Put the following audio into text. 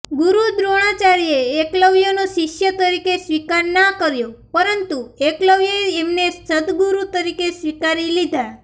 ગુરુ દ્રોણાચાર્યે એકલવ્યનો શિષ્ય તરીકે સ્વીકાર ના કર્યો પરંતુ એકલવ્યે એમને સદગુરુ તરીકે સ્વીકારી લીધા